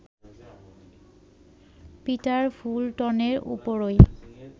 Peter ফুলটনের উপরই